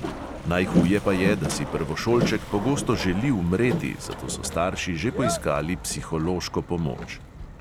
Najhuje pa je, da si prvošolček pogosto želi umreti, zato so starši že poiskali psihološko pomoč.